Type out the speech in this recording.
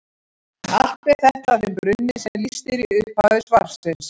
Allt ber þetta að þeim brunni sem lýst er í upphafi svarsins.